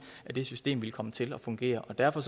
at det system ville komme til at fungere og derfor